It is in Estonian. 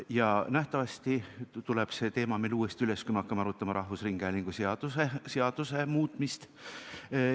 Ja nähtavasti tuleb see teema meil uuesti üles, kui me hakkame arutama rahvusringhäälingu seaduse muutmist.